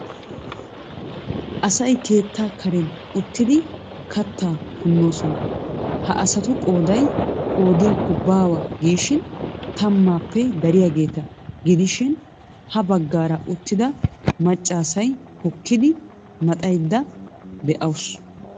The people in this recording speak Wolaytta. Asay keettaa karen uttidi kattaa punnoosona. Ha asatu qooday qoodiyakko baawa giishin tammaappe dariyageeta gidishin ha baggaara uttida maccaasi hokkodda maxaydda de'awusu.